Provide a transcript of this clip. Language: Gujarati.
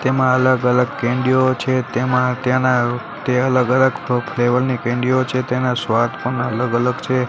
તેમા અલગ અલગ કેન્ડિયો છે તેમા તેના તે અલગ અલગ ફ્લેવર ની કેન્ડિયો છે તેના સ્વાદ પણ અલગ અલગ છે.